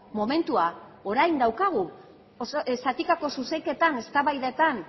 momentua orain daukagu zatikako zuzenketan eztabaidatan